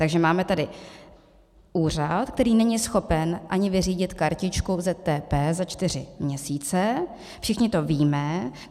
Takže máme tady úřad, který není schopen ani vyřídit kartičku ZTP za čtyři měsíce, všichni to víme.